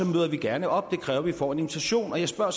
møder vi gerne op det kræver at vi får en invitation og jeg spørger